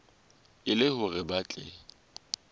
e le hore ba tle